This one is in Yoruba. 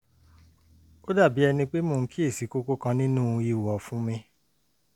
ó dàbí ẹni pé mò ń kíyèsí kókó kan nínú ihò ọ̀fun mi